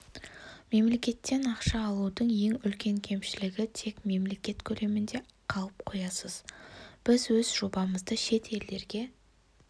мемлекеттен ақша алудың ең үлкен кемшілігітек мемлекет көлемінде қалып қоясыз біз өз жобамызды шет елдерге